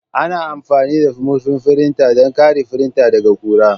Ana amfani da murfin firinta don kare firinta daga ƙura.